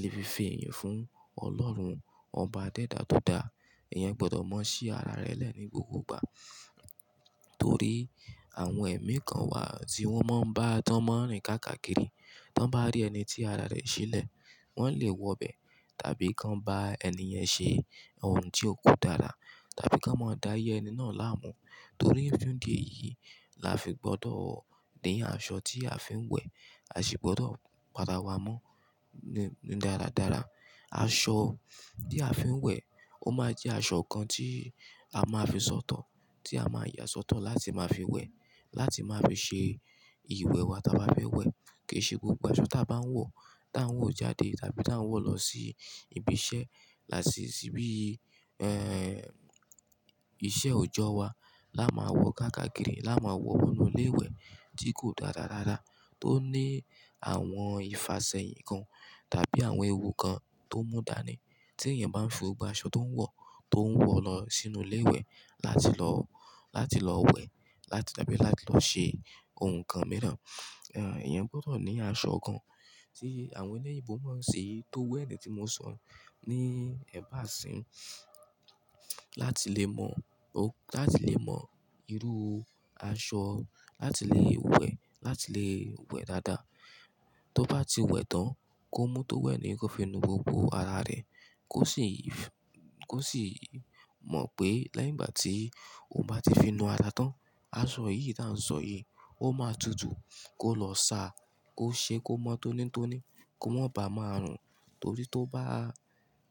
le fi fi iyì fún Ọlọ́run ọba dẹ́dà dada. Eyan o gbọdọ̀ mọ̀ sí ara rẹ̀ lẹ́ni gbogbo ìgbà torí àwọn ẹ̀mí kan wà tí wọ́n máa ń bá tánmọ̀ rìn kákàkiri. Tán bá rí ẹni tí ara rẹ̀ ṣílẹ̀, wọ́n lè wọ bẹ̀ tàbí kan bá ẹni yẹn ṣe ohun tí ko dára tàbí kan máa da áyé ẹni náà láàmú. Torí idí èyìí la fi gbọdọ̀ ní aṣọ tí a fi ń wẹ̀, a sì gbọdọ̀ para wá mọ́ nínú dáradára. Aṣọ tí a fi ń wẹ̀ ó máa jẹ́ aṣọ kan tí a máa fi sọ̀tọ̀, tí a máa yà sọ́tọ̀ láti máa fi wẹ̀, láti máa fi ṣe ìwẹ̀ wa tí a bá fẹ́ wẹ̀. Kì í ṣe gbogbo aṣọ tí a bá ń wọ̀, tí à ń wọ̀ jáde tàbí tí à ń wọ̀ lọ sí ibi iṣẹ́ láti ìsìbí iṣẹ́ òjọ́ wa la máa wọ kákàkiri, la máa wọ wọ inú ilé ìwẹ̀ tí kò dára rára, tó ní àwọn ìfasẹ̀yìn kan tàbí àwọn ewu kan tó mú dànù. Tí èèyàn bá ń fi gbogbo aṣọ tó ń wọ̀, tó ń wọ̀ lọ sínú ilé ìwẹ̀ láti lọ, láti lọ wẹ̀ láti tàbí láti lọ ṣe ohun kan mìíràn, eyẹn gbọdọ̀ ní aṣọ kan tí àwọn eléyìíbo máa ń ṣi tó wẹ̀ ni tí mo sọ̀ yí ni ẹ̀bá àṣín láti lè mọ ó, láti lè mọ irú aṣọ láti lè wẹ̀, láti lè wẹ̀ dáadáa. Tó bá ti wẹ̀ tán, kó mú tó wẹ̀ nì yẹn kó fi nu gbogbo ara rẹ̀ kó sì mọ̀ pé lẹ́yìn ìgbà tí ó bá ti fi nu ara tán, aṣọ yìí tá ń sọ yìí ó máa tutù kó lọ sa, kó ṣe kó mọ́ tónítóní, kó má bàa máa rùn torí tó bá,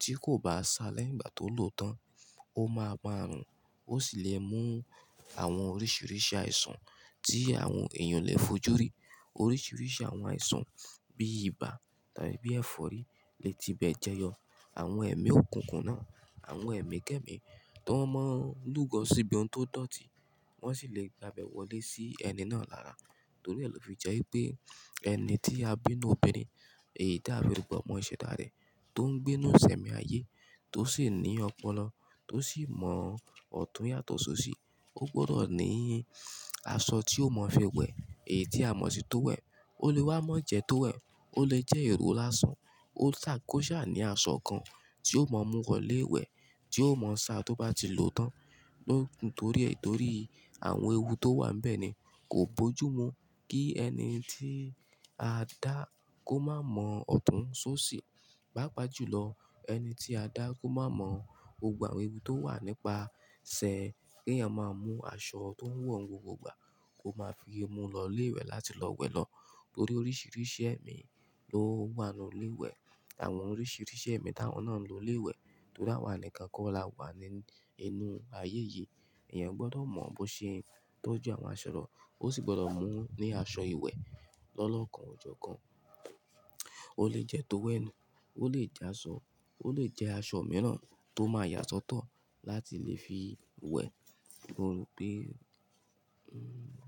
tí kò bá sa lẹ́yìn ìgbà tó lò tán, ó máa ma rùn. Ó sì lè mú àwọn oríṣiríṣi àìsàn tí àwọn èèyàn lè fojú rí. Oríṣiríṣi àwọn àìsàn bí ibà tàbí bí ẹ̀fọ́rí lè ti bẹ̀ jẹyọ. Àwọn ẹ̀mí òkùnkùn náà, àwọn ẹ̀mí kẹ́ẹ̀mí tó máa ń lù gọ́ síbi ohun tó dọ̀tí wọ́n sì lè gba bẹ̀ wọlé sí ẹni náà lára torí ẹ lo fi jẹ́ pé ẹni tí a bí inú obìnrin èyí tí a fi rùgbo mọ́ ìṣẹ́ dá rẹ̀ tó ń gbé inú ìṣẹ̀mí ayé tó sì ní ọpọlọ tó sì mọ ọ̀tún yàtọ̀ sóṣì ó gbọdọ̀ ní aṣọ tí ó mọ̀ fi wẹ̀, èyí tí a mọ̀ sí tó wẹ̀. Ó lè wá mọ̀ jẹ tó wẹ̀, ó lè jẹ́ èrò lásán, ó tà kó ṣà ní aṣọ kan tí ó mọ̀ mú wọlé wẹ̀, tí ó mọ̀ sa tó bá ti lò tán lókun torí ètò rí àwọn ewu tó wà níbẹ̀ ni kò bojú mu kí ẹni tí a dá kó má mọ ọ̀tún sóṣì pápa jùlọ ẹni tí a dá kó má mọ̀ gbogbo àwọn ewu tó wà nípa sẹ́ ẹ kí èèyàn máa mú aṣọ tó ń wọ̀ ń wọ gbogbo ìgbà kó máa fi mú lọ ilé ìwẹ̀ láti lọ wẹ̀ lọ torí oríṣiríṣi ẹ̀mí ló wà nínú ilé ìwẹ̀. Àwọn oríṣiríṣi ẹ̀mí táwọn náà ń lo ilé ìwẹ̀ torí àwa nìkan kó la wà nínú ayé yìí. Ìyẹn gbọdọ̀ mọ bó ṣe ń tọ́jú àwọn aṣọ rẹ̀ ó sì gbọdọ̀ mú ní aṣọ ìwẹ̀ lọ́lọ́kan ọjọ́ kan. Ó lè jẹ́ tó wẹ̀ nìyẹn, ó lè jẹ́ aṣọ, ó lè jẹ́ aṣọ mìíràn tó máa yà sọ́tọ̀ láti lè fi wẹ̀ nínú pé, hmm.